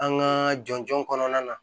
An ka jɔnjɔn kɔnɔna na